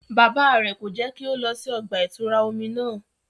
Bàbà rẹ ko jẹ ki o lọ sí ọgba-itura omí náà